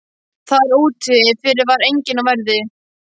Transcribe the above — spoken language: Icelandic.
Þar úti fyrir var enginn á verði.